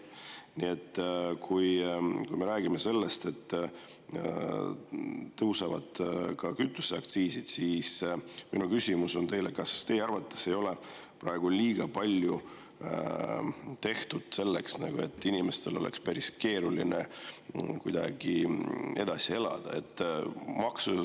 Nii et kui me räägime sellest, et tõusevad ka kütuseaktsiisid, siis minu küsimus on teile, kas teie arvates ei ole praegu liiga palju tehtud selleks, et inimestel oleks päris keeruline edasi elada.